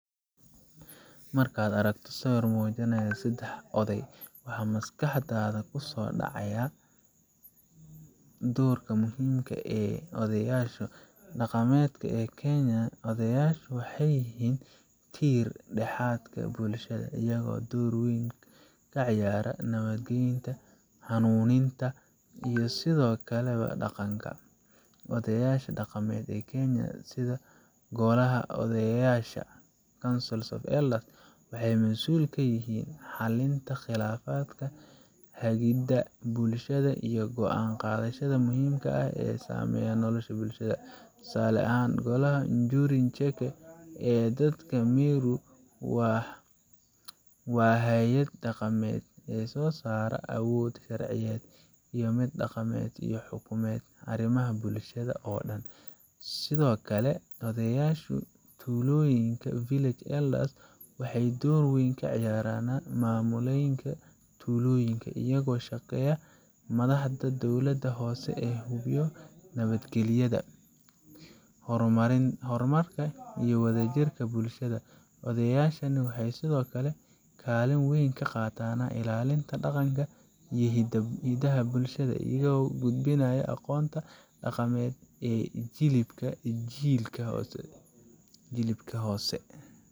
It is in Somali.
Markaad aragto sawir muujinaya saddex oday, waxaa maskaxdaada ku soo dhici kara doorka muhiimka ah ee odayaasha dhaqameed ee Kenya. Odayaashu waxay yihiin tiir-dhexaadka bulshada, iyagoo door weyn ka ciyaara nabadeynta, hanuuninta, iyo ilaalinta dhaqanka. Odayaasha dhaqameed ee Kenya, sida Golaha Odayaasha Council of Elders, waxay mas'uul ka yihiin xalinta khilaafaadka, hagidda bulshada, iyo go'aan qaadashada muhiimka ah ee saameeya nolosha bulshada. Tusaale ahaan, Golaha Njuri Ncheke ee dadka Meru waa hay'ad dhaqameed sosara awood sharciyeed iyo mid dhaqameed, iyadoo xukuma arrimaha bulshada oo dhan. Sidoo kale, odayaasha tuulooyinka village elders waxay door muhiim ah ka ciyaaraan maamulidda tuulooyinka, iyagoo la shaqeeya madaxda dowladda hoose si loo hubiyo nabadgelyada, horumarka, iyo wadajirka bulshada. Odayaashani waxay sidoo kale kaalin weyn ka qaataan ilaalinta dhaqanka iyo hiddaha bulshada, iyagoo gudbinaya aqoonta dhaqameed ee jiilba jilka hose.